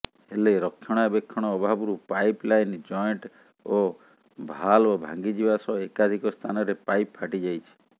ହେଲେ ରକ୍ଷଣାବେକ୍ଷଣ ଅଭାବରୁ ପାଇପ୍ ଲାଇନ୍ ଜଏଣ୍ଟ୍ ଓ ଭାଲ୍ଭ ଭାଙ୍ଗିଯିବା ସହ ଏକାଧିକ ସ୍ଥାନରେ ପାଇପ୍ ଫାଟିଯାଇଛି